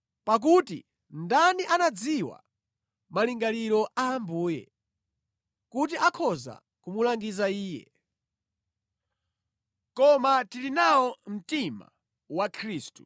Pakuti “Ndani anadziwa malingaliro a Ambuye, kuti akhoza kumulangiza Iye.” Koma tili nawo mtima wa Khristu.